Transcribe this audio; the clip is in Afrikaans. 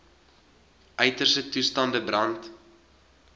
uiterste toestande brand